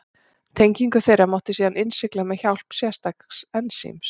Tengingu þeirra mátti síðan innsigla með hjálp sérstaks ensíms.